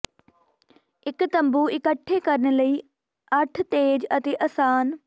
ਇੱਕ ਤੰਬੂ ਇਕੱਠੇ ਕਰਨ ਲਈ ਅੱਠ ਤੇਜ਼ ਅਤੇ ਆਸਾਨ